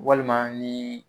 Walima ni